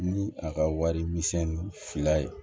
Ni a ka wari misɛnnin fila ye